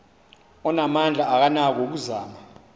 onamandla akanako ukuzama